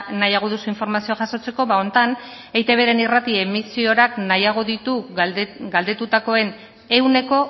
nahiago duzu informazioa jasotzeko honetan eitbren irrati emisorak nahiago ditu galdetutakoen ehuneko